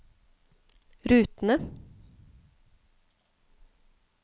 rutene